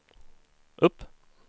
upp